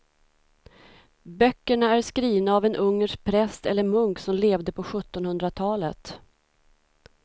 Böckerna är skrivna av en ungersk präst eller munk som levde på sjuttonhundratalet.